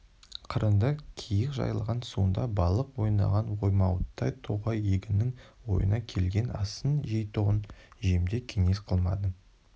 қырыңды киік жайлаған суында балық ойнаған оймауыттай тоғай егіннің ойына келген асын жейтұғын жемде кеңес қылмадың